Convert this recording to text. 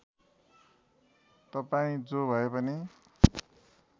तपाईँ जो भएपनि